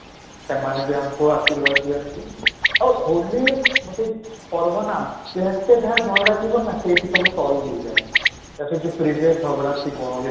ସେମାନେ ବି ଆମକୁ ଆଶୀର୍ବାଦ ଦିଅନ୍ତି ଆଉ ହୋଲି ଗୋଟେ ପର୍ବ ନା ଯେତେ ଯାହା ଝଗଡା ଥିବ ନା ସେଇଠି ସବୁ solve ହେଇଯାଏ, ଯାହା ସହିତ previous ଝଗଡା ଥିବ